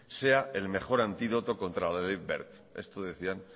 sea el mejor antídoto contra la ley wert esto decían